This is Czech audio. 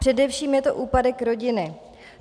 Především je to úpadek rodiny.